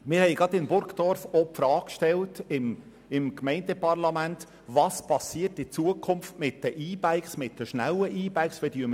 Wir haben gerade im Gemeindeparlament Burgdorf die Frage über die Zukunft der schnellen E-Bikes gestellt.